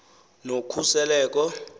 nokhuseleko